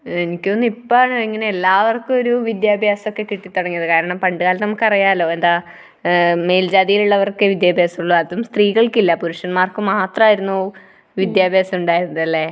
എനിക്കു തോന്നുന്നു ഇപ്പോഴാണ് എല്ലാവർക്കും ഇങ്ങനെ ഒരു വിദ്യാഭ്യാസമൊക്കെ കിട്ടിത്തുടങ്ങിയത്. കാരണം പണ്ടുകാലത്ത് നമുക്കറിയാലോ. എന്താ മേൽജാതിയിലുള്ളവർക്കേ വിദ്യാഭ്യാസമുള്ളൂ. അതും സ്ത്രീകൾക്കില്ല. പുരുഷന്മാർക്കു മാത്രമായിരുന്നു വിദ്യാഭ്യാസം ഉണ്ടായിരുന്നത് അല്ലേ?